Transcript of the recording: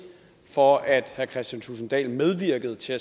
for at herre kristian thulesen dahl medvirkede til